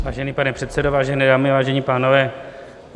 Vážený pane předsedo, vážené dámy, vážení pánové.